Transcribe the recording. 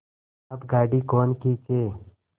अब गाड़ी कौन खींचे